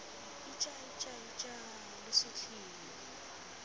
ija ija ija lo sutlhile